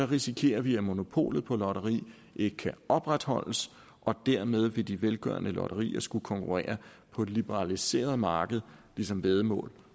risikerer vi at monopolet på lotteri ikke kan opretholdes og dermed vil de velgørende lotterier skulle konkurrere på et liberaliseret marked ligesom væddemål